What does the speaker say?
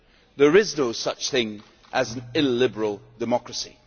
There is no such thing as illiberal democracy'.